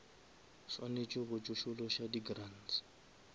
swanetše go tsošološa di grants